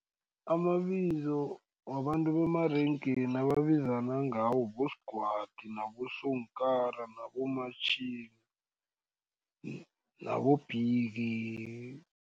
Amabizo wabantu bemarengeni ababizana ngawo boSgwadi, naboSonkara, naboMatjhila, naboBiggy.